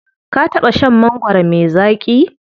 Ka taɓa shan mangwaro me zaƙi?